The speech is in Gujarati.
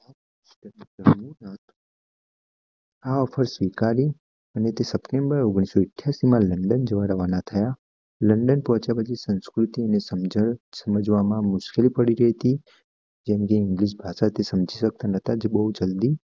આ ઓફર સ્વીકારી અને સપ્ટેમ્બર ઓગણીસો એઠયાસી માં લન્ડન જવા રવાના થયા લન્ડન પોહ્ચ્યા પછી સંસ્કૃતિ સમજવામાં મુશ્કિલ પડી રહી હતી જેમ જેમ ઇંગલિશ સમજી શકતા ન્હોતા બોઉજ જલ્દી